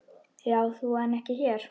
Já þú en ekki þér!